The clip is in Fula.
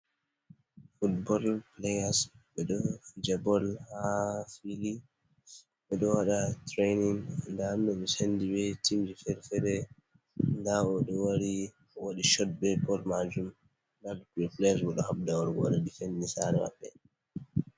Fut bol pileyas ɓe ɗo Fija bol ha fili.ɓe ɗo waɗa Tirenin nda ɓe Sendi be timji Fere- fere. Nda Oɗo wari owaɗi Shot be bol Majum,.Luttuɓe pileyas bo ɗo habda wargo wata difendin Sare Mabɓe.